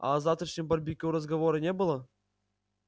а о завтрашнем барбекю разговора не было